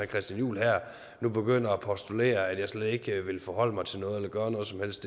christian juhl nu begynder at postulere at jeg slet ikke vil forholde mig til noget eller gøre noget som helst